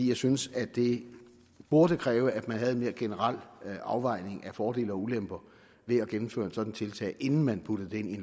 jeg synes at det burde kræve at man havde en mere generel afvejning af fordele og ulemper ved at gennemføre et sådant tiltag inden man puttede det ind i